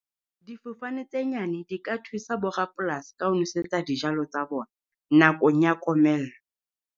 Difofane tse nyane di ka thusa bo rapolasi ka ho nosetsa dijalo tsa bona nakong ya komello.